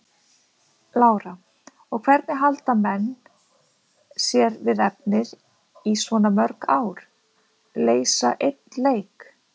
Lára: Og hvernig halda menn sé við efnið í svona mörg ár, leysa einn leik?